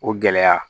O gɛlɛya